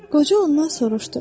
Qoca ondan soruşdu.